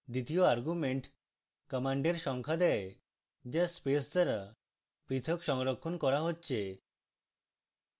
দ্বিতীয় argument commands সংখ্যা দেয় the স্পেস দ্বারা প্রথক সংরক্ষণ করা হচ্ছে